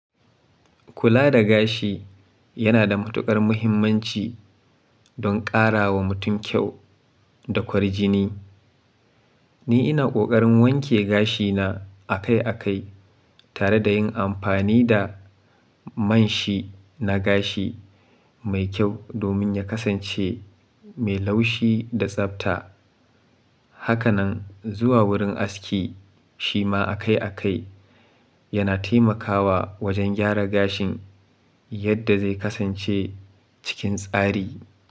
Kula da gashi yana da matuƙar muhimmanci don ƙara wa mutum kyau da kwarjini. Ni ina ƙoƙarin wanke gashina akai akai tare da yin amfani da man shi na gashi mai kyau domin ya kasance mai laushi da tsabta. Haka nan zuwa wurin aski shi ma akai akai yana taimakawa wajen gyara gashin yadda zai kasance cikin tsari.